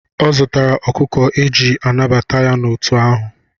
Ọ zụtara ọkụkọ eji anabata ya n'òtù ahụ.